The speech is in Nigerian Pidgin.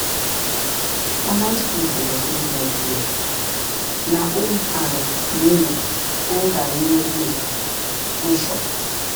balanced food dey increase milk flow na old and new old and new way wey sure.